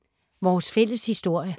Vores fælles historie